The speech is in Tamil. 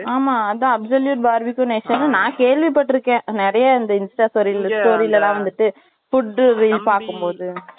ஆமா, அதான், absolute barbeque nation ன்னு, நான் கேள்விப்பட்டிருக்கேன். நிறையா, இந்த Insta story ல, story ல எல்லாம் வந்துட்டு food review அப்படின்னு பார்க்கும் போது